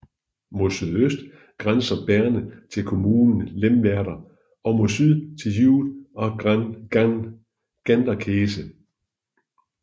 Mod sydøst grænser Berne til kommunen Lemwerder og mod syd til Hude og Ganderkesee